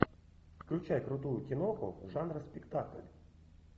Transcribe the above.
включай крутую киноху жанра спектакль